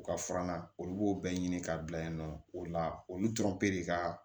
U ka furanna olu b'o bɛɛ ɲini k'a bila yen nɔ o la olu tɔrɔ ka